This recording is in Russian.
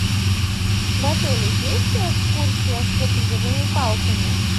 в отеле есть экскурсия с трекинговыми палками